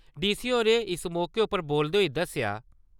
D . C . होरें इस मौके उप्पर बोलदे होई दस्सेया .